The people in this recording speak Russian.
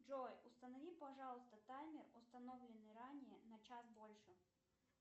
джой установи пожалуйста таймер установленный ранее на час дольше